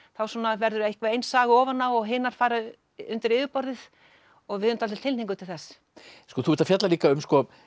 verður einhver ein saga ofan á og hinar fara undir yfirborðið og við höfum dálítið tilhneigingu til þess þú ert að fjalla líka um